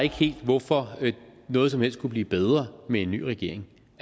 helt hvorfor noget som helst skulle blive bedre med en ny regering